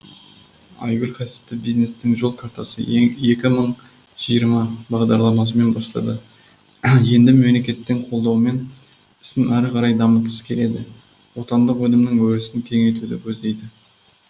айгүл кәсіпті бизнестің жол картасы екі мың жиырма бағдарламасымен бастады енді мемлекеттің қолдауымен ісін әрі қарай дамытқысы келеді отандық өнімнің өрісін кеңейтуді көздейді